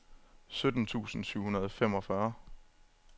sytten tusind syv hundrede og femogfyrre